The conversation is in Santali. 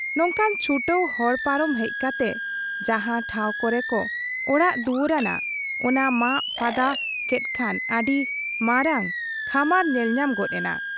ᱱᱚᱝᱠᱟᱱ ᱪᱷᱩᱴᱟᱹᱣ ᱦᱚᱲ ᱯᱟᱨᱚᱢ ᱦᱮᱡ ᱠᱟᱛᱮ ᱡᱟᱦᱟᱸ ᱴᱷᱟᱶ ᱠᱚᱨᱮ ᱠᱚ ᱚᱲᱟᱜ ᱫᱩᱣᱟᱹᱨ ᱟᱱᱟ , ᱚᱱᱟ ᱢᱟᱜ ᱯᱷᱟᱫᱟ ᱠᱮᱫ ᱠᱷᱟᱱ ᱟᱹᱰᱤ ᱢᱟᱨᱟᱝ ᱠᱷᱚᱢᱟᱨ ᱧᱮᱞᱧᱟᱢ ᱜᱚᱫ ᱮᱱᱟ ᱾